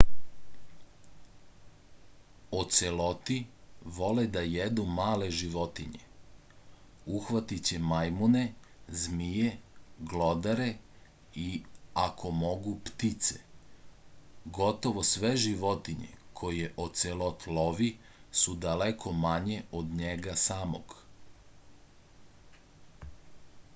oceloti vole da jedu male životinje uhvatiće majmune zmije glodare i ako mogu ptice gotovo sve životinje koje ocelot lovi su daleko manje od njega samog